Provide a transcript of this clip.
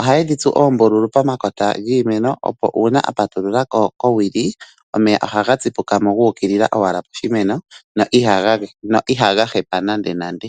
Ohaye dhi tsu oombululu pomakota giimeno opo uuna apatulula ko kowili omeya ohaga tsipuka mo guuka owala poshimeno na ihaga hepa nande.